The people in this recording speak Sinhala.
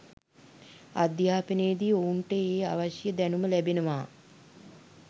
අධ්‍යාපනයේදී ඔවුන්ට ඒ අවශ්‍ය දැනුම ලැබෙනවා